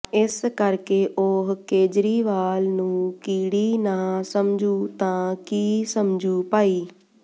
ਇਸ ਕਰਕੇ ਉਹ ਕੇਜਰੀਵਾਲ ਨੂੰ ਕੀੜੀ ਨਾ ਸਮਝੂ ਤਾਂ ਕੀ ਸਮਝੂ ਭਾਈ